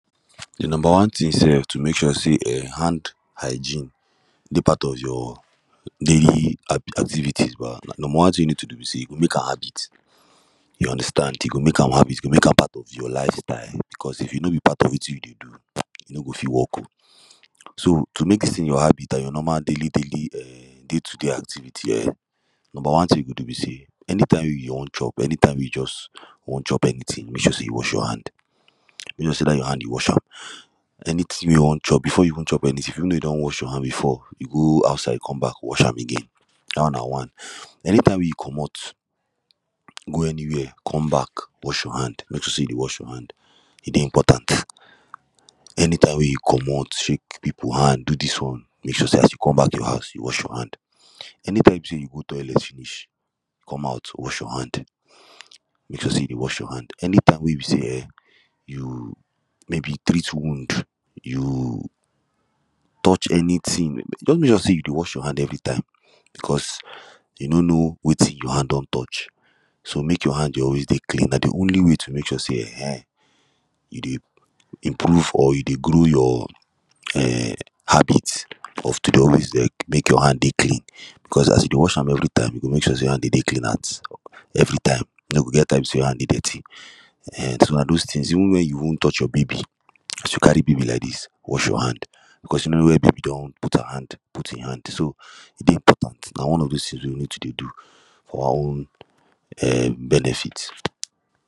de number one tin sef to mek sure say hand hygiene dey part of your daily activities ba number one tin you wey you need to do be say you go mek am habit you understand you go mek am habit you go mek am part of your lifestyle becos If e no be part of wetin you dey do [um]e no go fit work so to mek dis tin your habit an your normal daily daily, um day to day activity um number one tin you go do be say anytime wey you wan chop anytime wey you just wan chop anytin mek sure say you wash your hand mek sure say dat your hand you wash am anytin wey you wan chop before you even chop anytin if you know you don wash your hand before you go outside com back wash am again dat one na one anytime wey you comot go anywia com back wash your hand mek sure say you dey wash your hand e dey important anytime wey you comot shake people hand do dis one mek sure say as you com back your house you wash your hand anytime say you go toilet finish come out wash your hand mek sure say you dey wash your hand anytime wey be say um you maybe treat wound you touch anytin just mek sure say you dey wash your hand every time becos you no know wetin your hand don touch so mek your hand dey always dey clean na de only way to mek sure say um you dey improve or you dey grow your um habits of to dey always dey mek your hand dey clean becos as you dey wash am every time you go mek sure say your hand go dey clean at everytime e no go get time wey be say your hand go dirty um so na those tins even wen you wan touch your baby as you carry baby like dis wash your hand becos you no know where baby don put her hand put hin hand dey important na one of those tins wey you need to dey do for our um benefit